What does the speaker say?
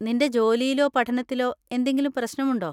നിന്‍റെ ജോലിയിലോ പഠനത്തിലോ എന്തെങ്കിലും പ്രശ്‌നമുണ്ടോ?